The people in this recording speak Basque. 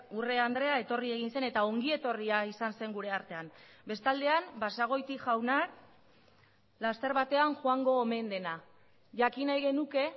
urrea andrea etorri egin zen eta ongi etorria izan zen gure artean bestaldean basagoiti jauna laster batean joango omen dena jakin nahi genuke